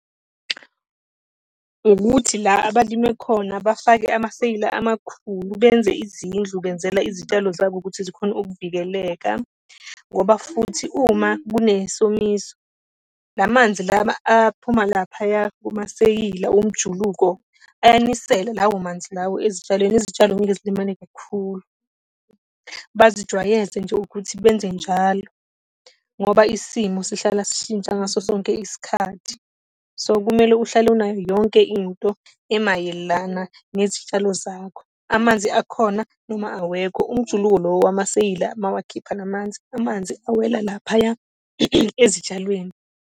Ukuthi la abalime khona bafake amaseyila amakhulu, benze izindlu, benzela izitshalo zabo ukuthi zikhone ukuvikeleka. Ngoba futhi uma kunesomiso, la manzi lawa aphuma laphaya kumaseyila omjuluko, ayanisela lawo manzi lawo ezitshalweni, izitshalo ngeke zilimale kakhulu. Bazijwayeze nje ukuthi benze njalo, ngoba isimo sihlala sishintsha ngaso sonke isikhathi. So kumele uhlale unayo yonke into emayelana nezitshalo zakho. Amanzi akhona noma awekho, umjuluko lo wamaseyila mawakhipha la manzi, amanzi awela laphaya ezitshalweni.